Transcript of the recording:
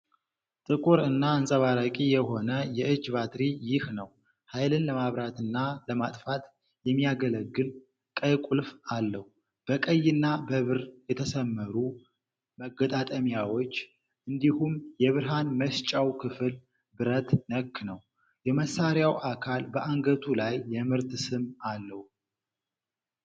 ጥቁር እና አንጸባራቂ የሆነ የእጅ ባትሪ ይህ ነው። ኃይልን ለማብራትና ለማጥፋት የሚያገለግል ቀይ ቁልፍ አለው። በቀይና በብር የተሰመሩ መገጣጠሚያዎች እንዲሁም የብርሃን መስጫው ክፍል ብረት ነክ ነው። የመሳሪያው አካል በአንገቱ ላይ የምርት ስም አለው።